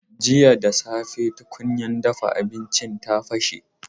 Jiya da safe tukunyar dafa abinci ta bashe.